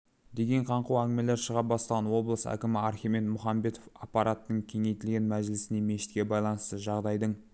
деген қаңқу әңгімелер шыға бастаған облыс әкімі архимед мұхамбетов аппараттың кеңейтілген мәжілісінде мешітке байланысты жағдайдың